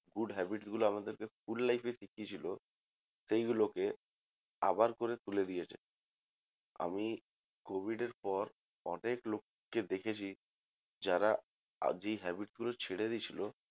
Good habits গুলো আমাদেরকে school life এ শিখিয়েছিল সেইগুলোকে আবার করে তুলে দিয়েছে আমি covid এর পর অনেক লোককে দেখেছি যারা আজ এই habits গুলো ছেড়ে দিয়েছিল